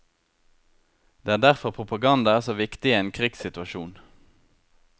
Det er derfor propaganda er så viktig i en krigssituasjon.